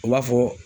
U b'a fɔ